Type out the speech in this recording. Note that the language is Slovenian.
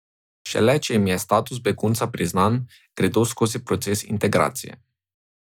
Šele če jim je status begunca priznan, gredo skozi proces integracije.